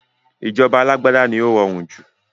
Ìjọba alágbádá ni ó rọrùn jù